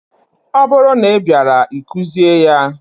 Ọ bụrụ na ị bịaara, ị kụzie ya!